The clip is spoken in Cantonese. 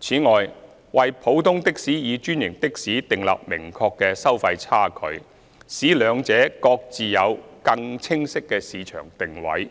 此外，為普通的士與專營的士訂立明確的收費差距，使兩者各自有更清晰的市場定位，